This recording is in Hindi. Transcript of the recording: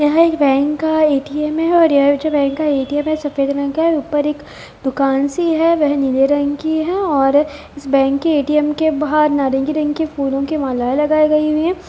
यहाँ एक बैंक का ए.टी.एम है और यहाँ जो बैंक है ए.टी.एम है सफ़ेद रंग का है ऊपर एक दुकान सी है वह नीले रंग की है और इस बैंक के ए.टी.एम के बाहर नारंगी रंग के फूलो की मालाएँ लगाए गई हुए है।